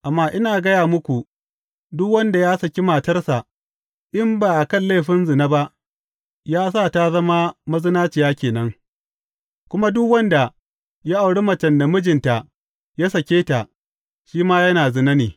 Amma ina gaya muku, duk wanda ya saki matarsa in ba a kan laifin zina ba, ya sa ta zama mazinaciya ke nan, kuma duk wanda ya auri macen da mijinta ya sake, shi ma yana zina ne.